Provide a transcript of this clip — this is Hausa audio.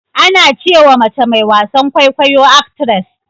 Ana ce wa mace mai wasan Kwaikwayo "actress".